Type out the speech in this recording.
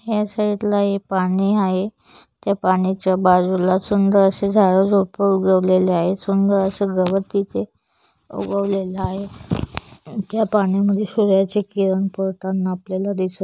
ह्या साइड ला पाणी आहे त्या पाण्याच्या बाजूला सुंदर असे झाडे उगवलेले आहेत सुंदर अस गवत तिथे उगवलेला आहे त्या पाण्या मधे सूर्याचे किरण पडतांना आपल्याला दिसत--